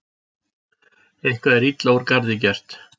Eitthvað er illa úr garði gert